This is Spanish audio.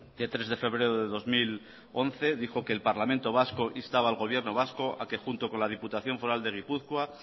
de tres de febrero del dos mil once dijo que el parlamento vasco instaba al gobierno vasco a que junto con la diputación foral de gipuzkoa